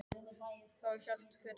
Þá hélt hver heim til sín.